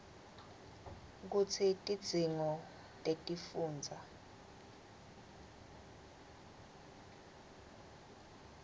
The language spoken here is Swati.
kutsi tidzingo tetifundza